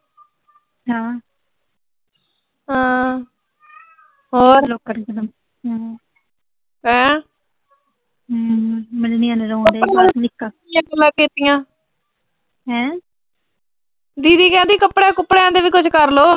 ਹੋਰ, ਹੈਂ। ਦੀਦੀ ਕਹਿੰਦੀ ਕੱਪੜਿਆਂ-ਕੁਪੜਿਆਂ ਦਾ ਵੀ ਕੁਸ਼ ਕਰਲੋ।